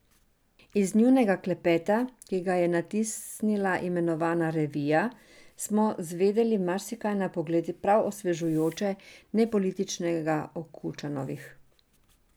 Iz njunega klepeta, ki ga je natisnila imenovana revija, smo zvedeli marsikaj na pogled prav osvežujoče nepolitičnega o Kučanovih.